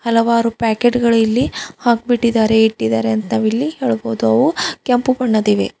ಹಲವಾರು ಪಾಕೆಟ್ ಗಳು ಇಲ್ಲಿ ಹಾಕ್ಬಿಟ್ಟಿದ್ದಾರೆ ಇಟ್ಟಿದಾರೆ ಅಂತ ಇಲ್ಲಿ ಹೇಳಬಹುದು ಅವು ಕೆಂಪು ಬಣ್ಣದಿವೆ.